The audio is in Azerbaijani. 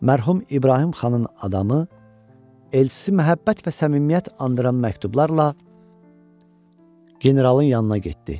Mərhum İbrahim xanın adamı, elçisi məhəbbət və səmimiyyət andıran məktublarla Generalın yanına getdi.